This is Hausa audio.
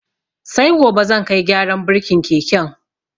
Sai gobe zan kai gyaran burkin keken.